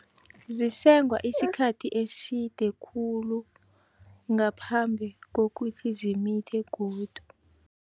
Zisengwa isikhathi eside khulu, ngaphambi kokuthi zimithe godu.